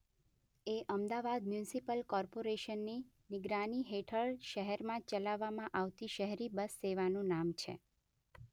એ Ahmedabad municipal કોર્પોરેશનની નિગરાની હેઠળ શહેરમાં ચલાવવામાં આવતી શહેરી બસ સેવાનું નામ છે.